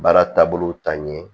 Baara taabolo ta ɲɛ